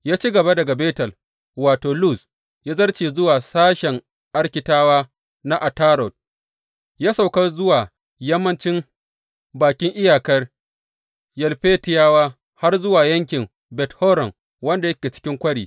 Ya ci gaba daga Betel wato, Luz, ya zarce zuwa sashen Arkitawa na Atarot, ya sauka zuwa yammancin bakin iyakar Yalfetiyawa har zuwa yankin Bet Horon wanda yake cikin kwari.